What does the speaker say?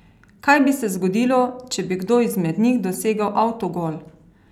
Kaj bi se zgodilo, če bi kdo izmed njih dosegel avtogol?